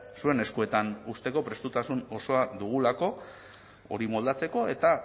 zuen eskuetan uzteko prestutasun osoa dugulako hori moldatzeko eta